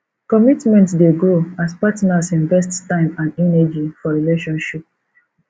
commitment dey grow as partners invest time and energy for relationship